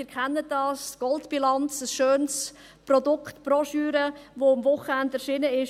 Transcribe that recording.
Sie kennen die «Gold-Bilanz», ein schönes Produkt, eine Broschüre, welche am Wochenende erschienen ist.